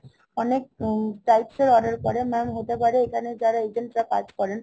অনেক types এর order পরে। Mam হতে পারে এখানে যারা agent রা কাজ করেন